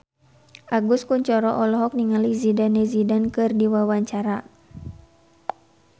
Agus Kuncoro olohok ningali Zidane Zidane keur diwawancara